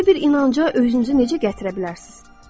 Belə bir inanca özünüzü necə gətirə bilərsiniz?